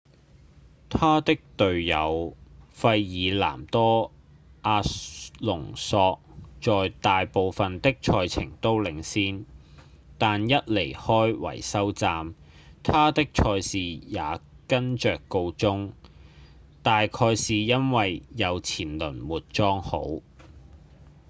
他的隊友費爾南多·阿隆索在大部分的賽程都領先但一離開維修站他的賽事也跟著告終大概是因為右前輪沒裝好